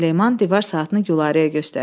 Süleyman divar saatını Gülarəyə göstərir.